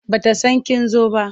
Ba ta san kin zo ba.